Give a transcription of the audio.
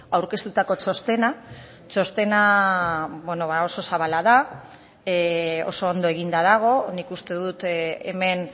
aurkeztutako txostena txostena ba oso zabala da oso ondo eginda dago nik uste dut hemen